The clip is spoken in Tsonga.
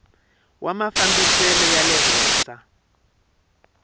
wa mafambisele ya le henhla